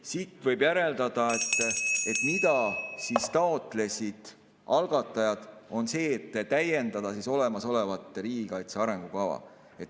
" Siit võib järeldada, et algatajad taotlesid seda, et täiendada olemasolevat riigikaitse arengukava.